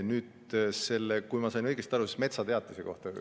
Nüüd, kui ma sain õigesti aru, siis metsateatise kohta.